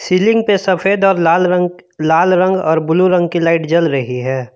Ceiling पे सफेद और लाल रंग लाल रंग और ब्लू रंग की लाइट जल रही है।